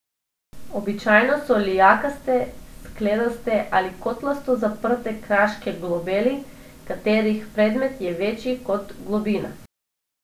Običajno so lijakaste, skledaste ali kotlasto zaprte kraške globeli, katerih premer je večji kot globina.